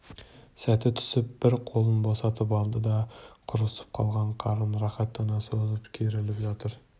сәті түсіп бір қолын босатып алды да құрысып қалған қарын рахаттана созып керіліп жатыр